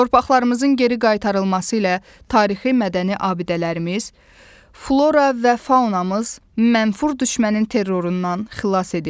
Torpaqlarımızın geri qaytarılması ilə tarixi-mədəni abidələrimiz, flora və faunamız mənfur düşmənin terrorundan xilas edildi.